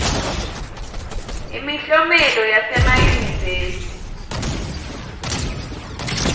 imiklomelo yasemayunivesi